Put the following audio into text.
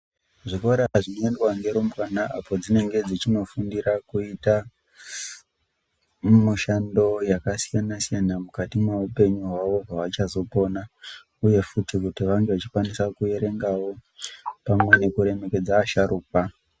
Zvikora zvinoendwa ngerumbwana apo dzinenge dzechindofundira kuita mishando yakasiyana siyana mukati mwoupenyu hwawo hwavachazopona uye futi kuti vange vachikwanisa kuereangawo pamwe nekuremekedza asharukwa.